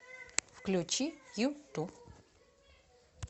включи юту